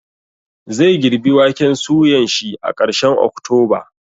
Zai girbi waken suyan shi a karshen oktoba